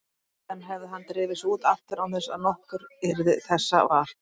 Síðan hefði hann drifið sig út aftur án þess að nokkur yrði þessa var.